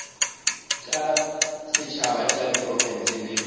tša setšhaba tša diprofense le